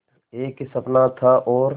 एक ही सपना था और